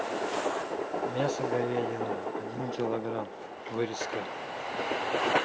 мясо говядина один килограмм вырезка